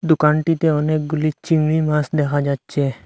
দোকানটিতে অনেকগুলি চিংড়ি মাস দেখা যাচ্ছে।